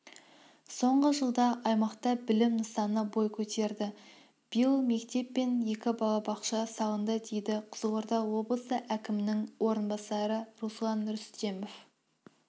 соңғы жылда аймақта білім нысаны бой көтерді биыл мектеп пен екі балабақша салынды дейді қызылорда облысы әкімінің орынбасары руслан рүстемов